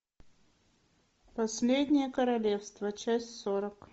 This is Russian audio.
последнее королевство часть сорок